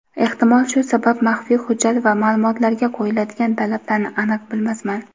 ehtimol shu sabab maxfiy hujjat va ma’lumotlarga qo‘yiladigan talablarni aniq bilmasman.